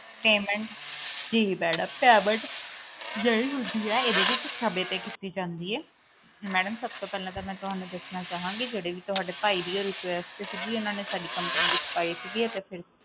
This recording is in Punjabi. ਜੀ ਮੈਡਮ payment ਜਿਹੜੀ ਹੁੰਦੀ ਆ ਏਦੇ ਵਿਚ ਸਮੇ ਤੇ ਕੀਤੀ ਜਾਂਦੀ ਏ ਮੈਡਮ ਸਭ ਤੋਂ ਪਹਿਲਾ ਤਾਂ ਮੈਂ ਤੁਹਾਨੂੰ ਦੱਸਣਾ ਚਾਹੂੰਗੀ ਕਿ ਜਿਹੜੇ ਵੀ ਤੁਹਾਡੀ ਭਾਈ ਦੀ ਉਹ request ਸੀਗੀ ਓਹਨਾ ਨੇ ਸਾਡੀ company ਵਿਚ ਪਾਈ ਸੀ ਅਤੇ ਫਿਰ